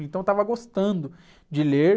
Então eu estava gostando de ler.